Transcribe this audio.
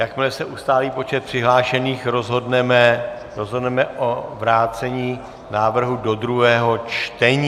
Jakmile se ustálí počet přihlášených, rozhodneme o vrácení návrhu do druhého čtení.